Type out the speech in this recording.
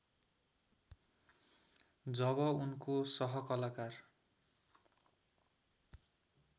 जब उनको सहकलाकार